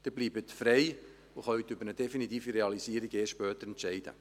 Sie bleiben frei und können später über eine definitive Realisierung entscheiden.